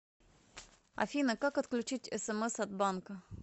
афина как отключить смс от банка